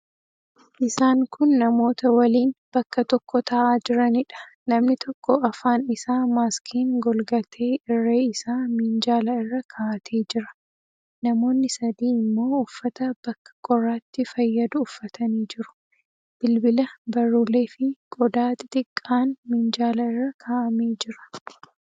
Isaan kun namoota waliin bakka tokko taa'aa jiraniidha. Namni tokko afaan isaa maaskiin golgatee irree isaa minjaala irra kaa'atee jira. Namoonni sadii immoo uffata bakka qorraatti fayyadu uffatanii jiru. Bilbila, barruuleefi qodaa xixiqqaan minjaala irra kaa'amee jira.